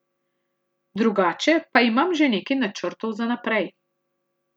Drugače pa imam že nekaj načrtov za naprej.